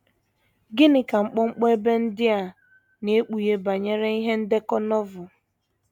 Gịnị ka mkpọmkpọ ebe ndị a na - ekpughe banyere ihe ndekọ Novel?